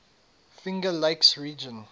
finger lakes region